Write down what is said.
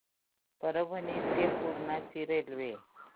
परभणी ते पूर्णा ची रेल्वे